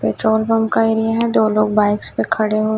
petrol pump का area है दो लोग बाइक्स पे खड़े--